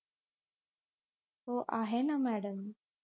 हो आहे ना मॅडम